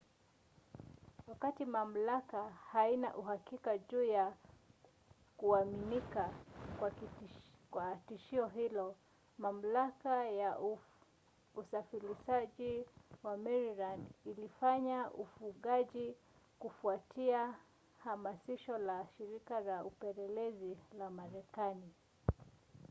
wakati mamlaka haina uhakika juu ya kuaminika kwa tishio hilo mamlaka ya usafirishaji ya maryland ilifanya ufungaji kufuatia hamasisho la shirika la upelelezi la marekani